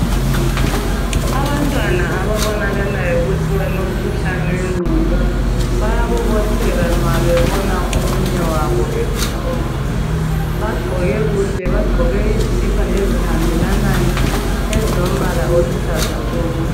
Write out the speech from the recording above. Abantwana ababonakalayo ukuthi balomkhuhlane wengqondo bayabobotheka, nxa bebona omunye wabo ekhuluma bagqoke kuhle bagqoke izikipa ezihambelanayo ezilombala oluhlaza tshoko